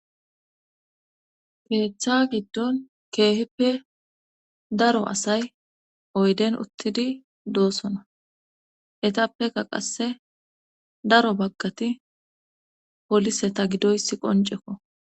keeththa giddon keehippe daro asay oyden uttidi doosona etappeka qasse daro baggati polise ta gidoysi qoncekko